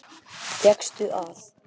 Fékkstu að.